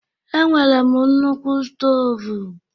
E nwere m nnukwu stovu